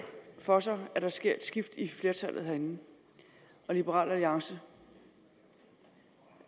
for sig at der sker et skift i flertallet herinde og liberal alliance